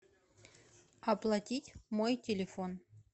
оплатить мой телефон